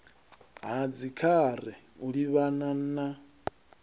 ha dzikhare u livhana na